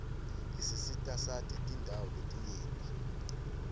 isisitasati tindawo letinyenti